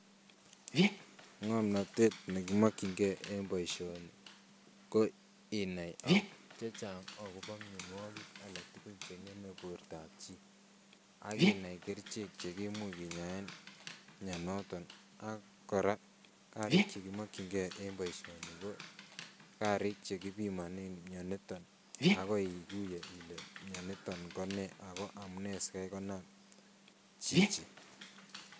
Ng'omnotet nekimokying'e en boishoni ko inai chechang akobo mionwokik alak tukul cheng'eme bortab chito ak inai kerichek chekimuche kinyaen mionitok ak kora karik chekimokying'e en boishoni ko karik chekibimonen mioniton ak koi ikuye ilee mioniton ko nee ak ko amune sikai konam chichii.